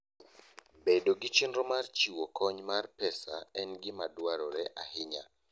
Bedo gi chenro mar chiwo kony mar pesa en gima dwarore ahinya.